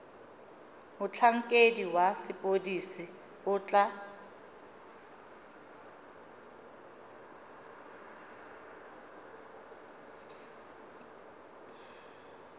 motlhankedi wa sepodisi o tla